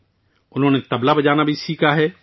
اس نے طبلہ بجانا بھی سیکھا ہے